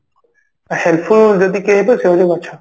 helpful ଯଦି କିଏ ହେବେ ସିଏ ହଉଛି ଗଛ